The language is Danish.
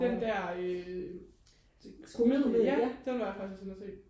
den der øh komedie ja den var jeg faktisk også inde og se